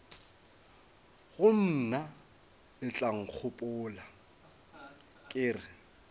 go mna letlankgopola ke re